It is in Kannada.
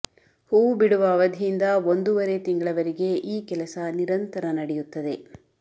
ಹೂವು ಬಿಡುವ ಅವಧಿಯಿಂದ ಒಂದೂವರೆ ತಿಂಗಳವರೆಗೆ ಈ ಕೆಲಸ ನಿರಂತರ ನಡೆಯುತ್ತದೆ